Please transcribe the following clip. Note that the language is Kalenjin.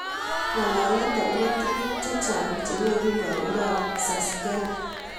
ngalalet agoba tuguk chechang chenyoru lagookab susguly